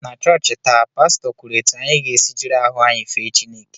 Na chọọchị taa, Pastọ kwuru etu anyị ga-esi jiri ahụ anyị fee Chineke